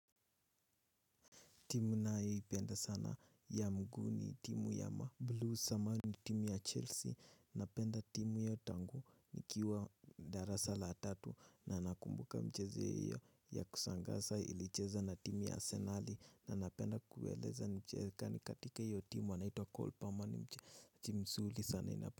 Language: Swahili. Timu nayoipenda sana ya mguu ni timu ya mablues ama ni timu ya chelsea napenda timu hiyo tangu nikiwa darasa la tatu na nakumbuka mchezo hiyo ya kushangaza ilicheza na timu ya arsenali na napenda kueleza mchezaji katika hiyo timu anaitwa Cole Palmer ni mchezaji mzuri sana ninapenda.